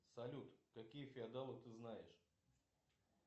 салют какие феодалы ты знаешь